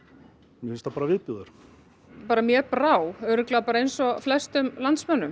mér finnst það bara viðbjóður mér brá örugglega bara eins og flestum landsmönnum